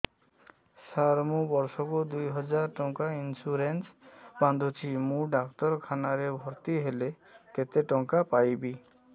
ସାର ମୁ ବର୍ଷ କୁ ଦୁଇ ହଜାର ଟଙ୍କା ଇନ୍ସୁରେନ୍ସ ବାନ୍ଧୁଛି ମୁ ଡାକ୍ତରଖାନା ରେ ଭର୍ତ୍ତିହେଲେ କେତେଟଙ୍କା ପାଇବି